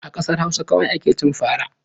A ƙasar Hausa kawai ake cin fara.